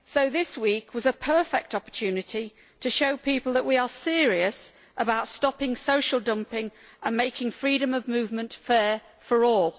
This week was a perfect opportunity to show people that we are serious about stopping social dumping and making freedom of movement fair for all.